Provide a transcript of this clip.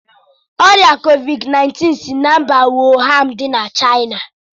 Ọrịa Kovid 19 si na mba Wuhan dị na Chaina.